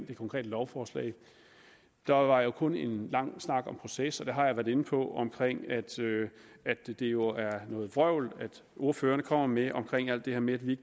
det konkrete lovforslag der var kun en lang snak om proces og jeg har været inde på at det jo er noget vrøvl ordførerne kommer med om alt det her med at vi